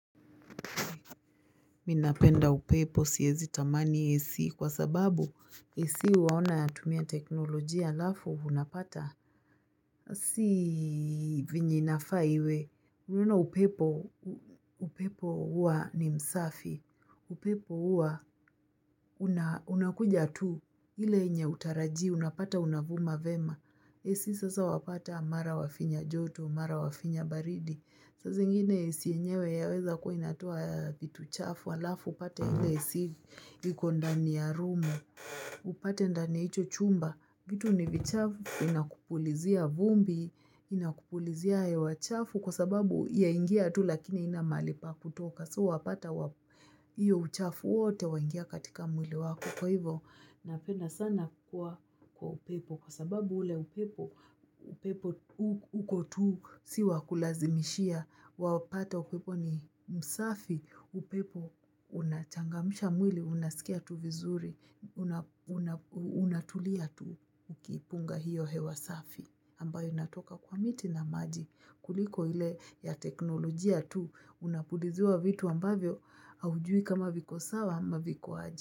Mimi napenda upepo siezi tamani AC kwa sababu AC huona yatumia teknolojia alafu unapata. Si venye inafaa iwe. Unaona upepo huwa ni msafi. Upepo huwa unakuja tu. Ile yenye hautarajii unapata unavuma vema. AC sasa wapata mara wafinya joto, mara wafinya baridi. Saa zingine AC yenyewe yaweza kuwa inatoa vitu chafu, alafu upate ile AC iko ndani ya room, upate ndani ya hicho chumba, vitu ni vichafu inakupulizia vumbi, inakupulizia hewa chafu kwa sababu yaingia tu lakini haina mahali pa kutoka. So wapata hiyo uchafu wote waingia katika mwili wako kwa hivo napenda sana kwa upepo kwa sababu ule upepo, upepo uko tu si wa kulazimishia, wapata upepo ni msafi, upepo unachangamsha mwili, unasikia tu vizuri, unatulia tu ukipunga hiyo hewa safi. Ambayo inatoka kwa miti na maji kuliko ile ya teknolojia tu unapuliziwa vitu ambavyo haujui kama viko sawa ama viko aje.